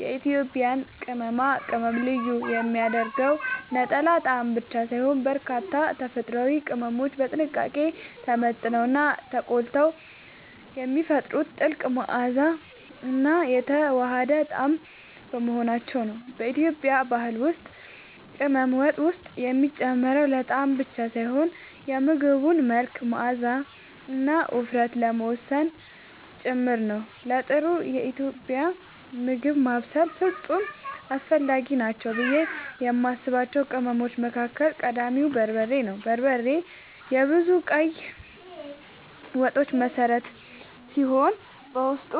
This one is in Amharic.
የኢትዮጵያን ቅመማ ቅመም ልዩ የሚያደርገው ነጠላ ጣዕም ብቻ ሳይሆን፣ በርካታ ተፈጥሯዊ ቅመሞች በጥንቃቄ ተመጥነውና ተቆልተው የሚፈጥሩት ጥልቅ መዓዛና የተዋሃደ ጣዕም በመሆናቸው ነው። በኢትዮጵያ ባህል ውስጥ ቅመም ወጥ ውስጥ የሚጨመረው ለጣዕም ብቻ ሳይሆን የምግቡን መልክ፣ መዓዛና ውፍረት ለመወሰን ጭምር ነው። ለጥሩ ኢትዮጵያዊ ምግብ ማብሰል ፍጹም አስፈላጊ ናቸው ብዬ የማስባቸው ቅመሞች መካከል ቀዳሚው በርበሬ ነው። በርበሬ የብዙ ቀይ ወጦች መሠረት ሲሆን፣ በውስጡ